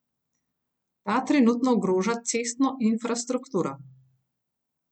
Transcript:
Ta trenutno ogroža cestno infrastrukturo.